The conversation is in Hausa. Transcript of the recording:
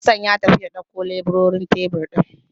Hassan ya tafi ya ɗaukowa leburorin tebir ɗin.